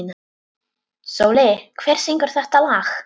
Sóli, hver syngur þetta lag?